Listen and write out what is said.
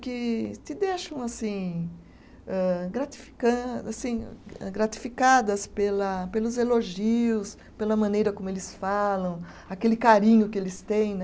Que te deixam assim, âh gratifican, assim, eh gratificadas pela pelos elogios, pela maneira como eles falam, aquele carinho que eles têm né.